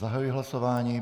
Zahajuji hlasování.